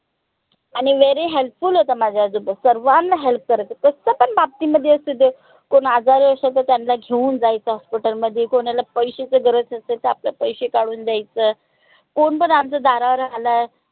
आणि very help full होते माझे आजोबा सर्वांना help करायचे कस पन बाबतीमध्ये असू दे कोन आजारी असल तर त्यांला घेऊन जायचं hospital मध्ये कोनाला पैश्याच गरज असेल तर आपलं पैशे काढून द्यायचं कोन पन आमच्या दारावर आलाय